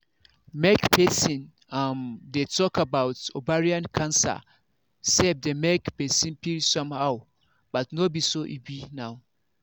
make persin um dey talk about ovarian cancer sef dey make persin feel somehow but no be so e be now